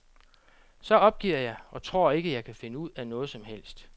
Så opgiver jeg, og tror ikke, jeg kan finde ud af noget som helst.